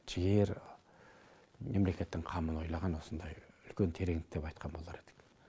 жігер мемлекеттің қамын ойлаған осындай үлкен тереңдік деп айтқан болар едім